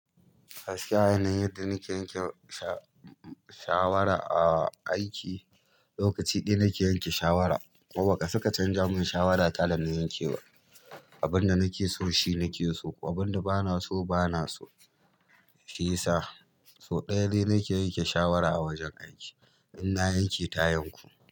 Gaskiyar yanayin da nike yanke shawara a aiki lokaci ɗaya nike yanke shawara baka isa ka canja mun shawara ta dana yanke ba. Abinda nake so shi nake so, abinda bana so bana so. Shiyasa sau ɗaya dai nake yanke shawara a wajen aiki, ina yanke ta yanku.